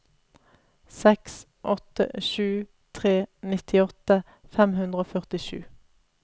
seks åtte sju tre nittiåtte fem hundre og førtisju